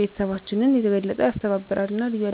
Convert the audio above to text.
ቤተሰባችንን የበለጠ ያስተባብራል እና ልዩ ያደርገዋል።